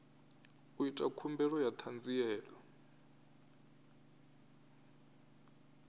u ita khumbelo ya ṱhanziela